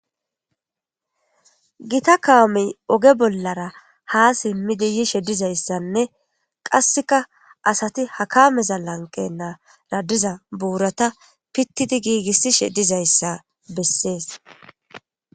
gita kaamey oge bollara ha simmidi yishe dizayssanne qasseka asati hakameza lanqe naara diza buurata pittidi giigissishe dizayssa bessees